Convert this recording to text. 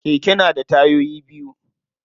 Keke na da tayoyi biyu.